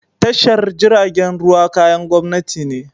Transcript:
Tashar jiragen ruwa kayan gwamnati ne.